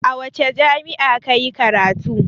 A wace jami'a ka yi karatu?